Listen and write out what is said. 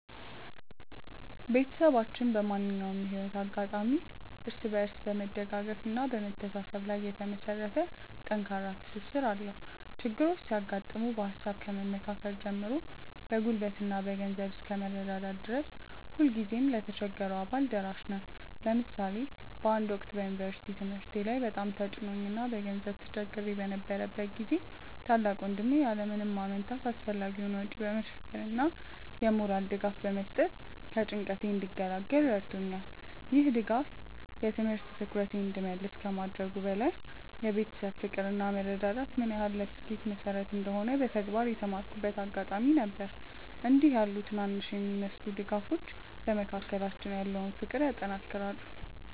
ቤተሰባችን በማንኛውም የህይወት አጋጣሚ እርስ በርስ በመደጋገፍና በመተሳሰብ ላይ የተመሰረተ ጠንካራ ትስስር አለው። ችግሮች ሲያጋጥሙ በሃሳብ ከመመካከር ጀምሮ በጉልበትና በገንዘብ እስከ መረዳዳት ድረስ ሁልጊዜም ለተቸገረው አባል ደራሽ ነን። ለምሳሌ በአንድ ወቅት በዩኒቨርሲቲ ትምህርቴ ላይ በጣም ተጭኖኝ እና በገንዘብ ተቸግሬ በነበረበት ጊዜ ታላቅ ወንድሜ ያለ ምንም ማመንታት አስፈላጊውን ወጪ በመሸፈን እና የሞራል ድጋፍ በመስጠት ከጭንቀቴ እንድገላገል ረድቶኛል። ይህ ድጋፍ የትምህርት ትኩረቴን እንድመልስ ከማድረጉም በላይ የቤተሰብ ፍቅር እና መረዳዳት ምን ያህል ለስኬት መሰረት እንደሆነ በተግባር የተማርኩበት አጋጣሚ ነበር። እንዲህ ያሉ ትናንሽ የሚመስሉ ድጋፎች በመካከላችን ያለውን ፍቅር ያጠናክራሉ።